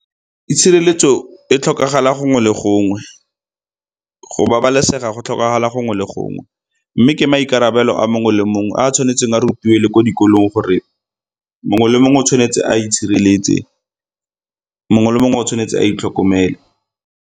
Itshireletso e tlhokagala gongwe le gongwe. Go babalesega go tlhokagala gongwe le gongwe, mme ke maikarabelo a mongwe le mongwe a tshwanetseng a rutiwe le ko dikolong gore mongwe le mongwe o tshwanetse a itshireletse, mongwe le mongwe o tshwanetse a itlhokomele.